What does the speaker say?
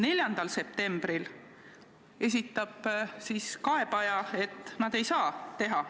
4. septembril ütles kaebaja, et nad ei saa seda teha.